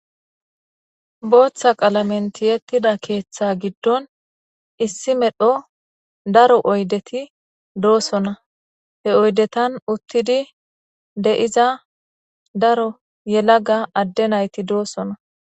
Dooththa qalamenti yettida keeththa giddon issi medho daro oydeti doosona he oydetan uttidi de'iza daro yelaga adde nayti doosona.